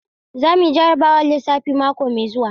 Za mu yi jarrabawar lissafi mako mai zuwa.